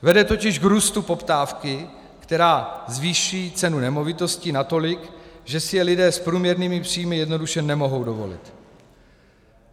Vede totiž k růstu poptávky, která zvýší cenu nemovitostí natolik, že si je lidé s průměrnými příjmy jednoduše nemohou dovolit.